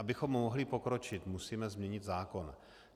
Abychom mohli pokročit, musíme změnit zákon.